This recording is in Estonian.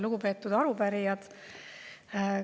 Lugupeetud arupärijad!